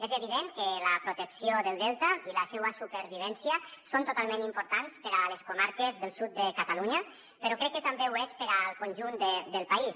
és evident que la protecció del delta i la seua supervivència són totalment importants per a les comarques del sud de catalunya però crec que també ho és per al conjunt del país